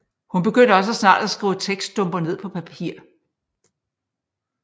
Hun begyndte også snart at skrive tekststumper ned på papir